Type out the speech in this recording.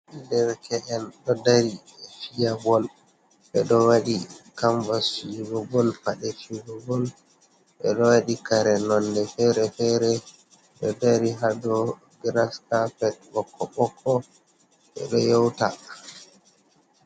Derke enɗo dari fiya bol ɓeɗo waɗi kambas judugol paɗe cuhgol, ɓeɗo waɗi kare nonde fere-fere, ɗo dari ha dow graskapet ɓokko ɓokko ɓeɗo yeuta.